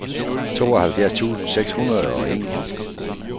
tooghalvfjerds tusind seks hundrede og en